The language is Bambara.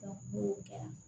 n'o kɛra